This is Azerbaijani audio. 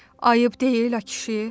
Ayıb deyil, a kişi.